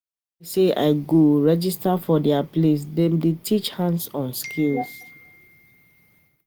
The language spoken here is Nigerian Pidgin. E be like sey I go go register for di place dem dey teach hands-on skills.